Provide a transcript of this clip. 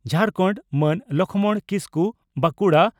Jharkhand) Man Lakhman Kisku (Bankura